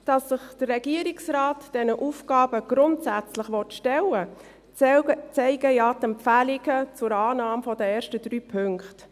Dass sich der Regierungsrat diesen Aufgaben grundsätzlich stellen will, zeigen ja die Empfehlungen zur Annahme der ersten drei Punkte.